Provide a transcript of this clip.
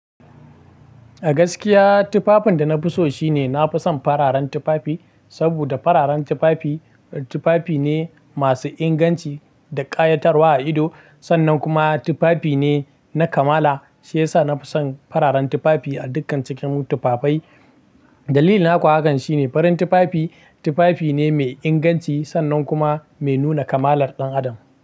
A gaskiya tufafin da na fi so shine nafi son fararen tufafi, saboda fararen tufafi, tufafi ne masu inganci da ƙayatarwa a ido, sannan kuma tufafi ne na kamala. Shi yasa nafi son fararen tufafi a dukkan cikin tufafai. Dalili na kuwa akanshine farin tufafi, tufafi ne mai inganci sannan kuma mai nuna kamalar ɗan adam.